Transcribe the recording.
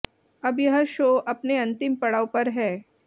अब यह शो अपने अंतिम पड़ाव पर है